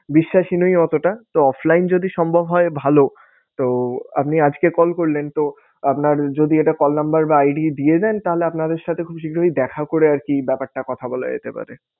বিশ্বাসী নই অতটা তো offline যদি সম্ভব হয় ভালো। তো আপনি আজকে call করলেন তো আপনার যদি একটা call number বা ID দিয়ে দেন তাহলে আপনাদের সাথে খুব শীঘ্রই দেখা করে আরকি ব্যাপারটা কথা বলা যেতে পারে।